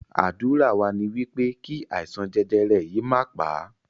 Ádùrá wa ní wípé kí àìsàn jẹjẹrẹ yìí má pà á